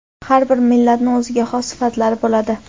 Har bir millatni o‘ziga xos sifatlari bo‘ladi.